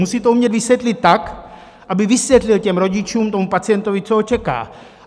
Musí to umět vysvětlit tak, aby vysvětlil těm rodičům, tomu pacientovi, co ho čeká.